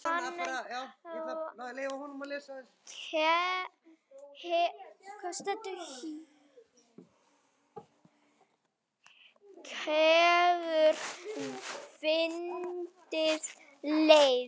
En hann hefur fundið leið.